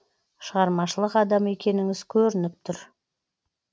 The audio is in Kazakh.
шығармашылық адамы екеніңіз көрініп тұр